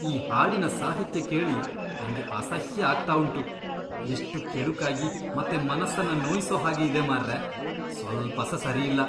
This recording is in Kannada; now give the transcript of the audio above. ಈ ಹಾಡಿನ ಸಾಹಿತ್ಯ ಕೇಳಿ ನಂಗೆ ಅಸಹ್ಯ ಆಗ್ತಾ ಉಂಟು. ಎಷ್ಟು ಕೆಡುಕಾಗಿ ಮತ್ತೆ ಮನಸ್ಸನ್ನ ನೋಯಿಸೋ ಹಾಗೆ ಇದೆ ಮಾರ್ರೇ.. ಸ್ವಲ್ಪಸಾ ಸರಿಯಿಲ್ಲ.